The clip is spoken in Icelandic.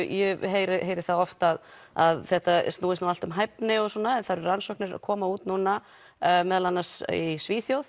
ég heyri heyri það oft að að þetta snúist allt um hæfni og svona en það eru rannsóknir að koma út núna meðal annars í Svíþjóð